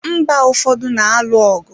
Mba ụfọdụ na-alụ ọgụ.